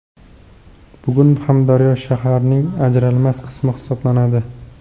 Bugun ham daryo shaharning ajralmas qismi hisoblanadi.